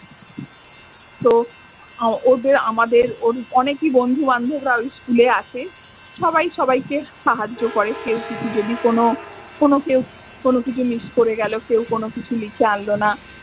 তো ও~ ওদের আমাদের ওর অনেকেই বন্ধু বান্ধবরা ওই school এ আছে। সবাই সবাইকে সাহায্য করে। কেউ কিছু যদি কোনো কোনো কেউ কোনো কিছু miss করে গেলো কেউ কোনো কিছু লিখে আনলো না।